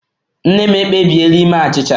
Nne m ekpebiela ime achịcha